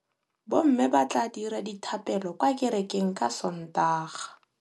Bommê ba tla dira dithapêlô kwa kerekeng ka Sontaga.